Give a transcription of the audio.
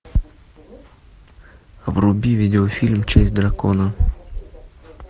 вруби видео фильм честь дракона